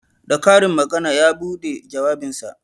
Da karin magana ya buɗe jawabinsa